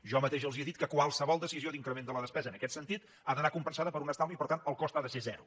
jo mateix els he dit que qualsevol decisió d’increment de la despesa en aquest sentit ha d’anar compensada per un estalvi i per tant el cost ha de ser zero